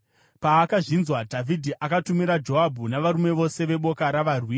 Paakazvinzwa, Dhavhidhi akatumira Joabhu navarume vose veboka ravarwi.